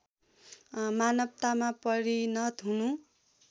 मानवतामा परिणत हुनु